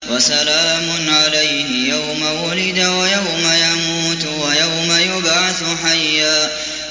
وَسَلَامٌ عَلَيْهِ يَوْمَ وُلِدَ وَيَوْمَ يَمُوتُ وَيَوْمَ يُبْعَثُ حَيًّا